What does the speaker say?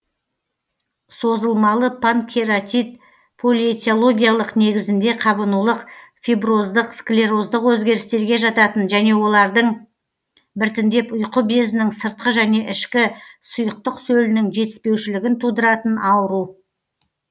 созылмалы панкератит полиэтиологичлық негізінде қабынулық фиброздық склероздық өзгерістерге жататын және олардың біртіндеп ұйқы безінің сыртқы және ішкі сұйықтық сөлінің жетіспеушілігін тудыратын ауру